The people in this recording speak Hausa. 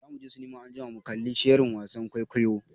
Za muje sinima anjima mu kalli shirin wasan kwaikwayon.